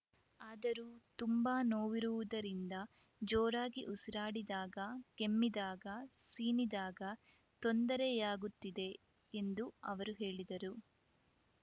ಆದರೂ ತುಂಬಾ ನೋವಿರುವುದರಿಂದ ಜೋರಾಗಿ ಉಸಿರಾಡಿದಾಗ ಕೆಮ್ಮಿದಾಗ ಸೀನಿದಾಗ ತೊಂದರೆಯಾಗುತ್ತಿದೆ ಎಂದು ಅವರು ಹೇಳಿದರು